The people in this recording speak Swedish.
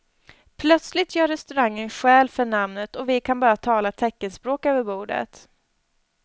Plötsligt gör restaurangen skäl för namnet och vi kan bara tala teckenspråk över bordet.